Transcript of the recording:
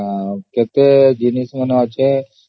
ସେତେବେଳେ କେବଳ